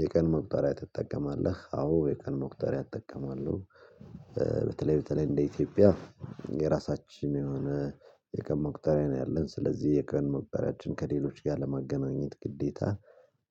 የቀን መቁጠሪያ ትጠቀማለህ? አዎ የቀን መቁጠሪያ እጠቀማለሁ። በተለይ በተለይ እንደ ኢትዮጵያ የራሳችን የሆነ የቀን መቁጠሪያ ነው። ያለን ስለዚህ የቀን መቁጠሪያችን ከሌሎች ጋር ለማገናኘት ግዴታ